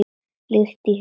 Líkt og í huga Júlíu.